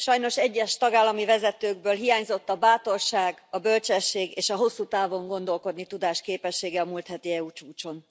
Sajnos egyes tagállami vezetőkből hiányzott a bátorság, a bölcsesség és a hosszú távon gondolkodni tudás képessége a múlt heti EU csúcson.